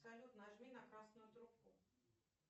салют нажми на красную трубку